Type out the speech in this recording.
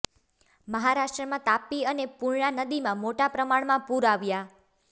મહારાષ્ટ્રનાં તાપી અને પુર્ણા નદીમાં મોટા પ્રમાણમાં પુર આવ્યા